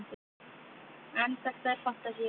en þetta er fantasía